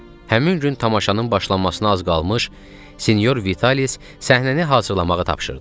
Həmin gün tamaşanın başlanmasına az qalmış, Sinyor Vitalic səhnəni hazırlamağı tapşırdı.